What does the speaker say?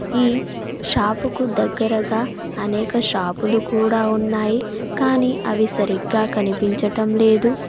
ఈ షాపుకు దగ్గరగా అనేక షాపులు కూడా ఉన్నాయి కానీ అవి సరిగ్గా కనిపించటం లేదు.